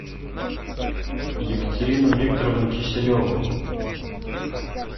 екатерину викторовну киселеву